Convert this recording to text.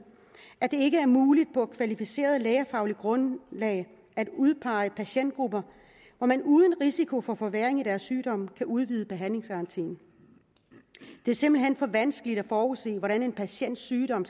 at det ikke er muligt på kvalificeret lægefagligt grundlag at udpege patientgrupper hvor man uden risiko for forværring i deres sygdom kan udvide behandlingsgarantien det er simpelt hen for vanskeligt at forudse hvordan en patients sygdom